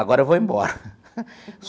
Agora eu vou embora.